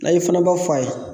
Layi i fana b'a fɔ a ye